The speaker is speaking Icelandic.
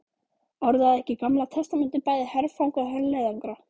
Orðaði ekki Gamla testamentið bæði herfang og herleiðangra?